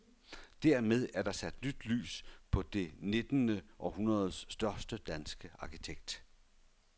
Dermed er der sat nyt lys på det nittende århundredes største danske arkitekt.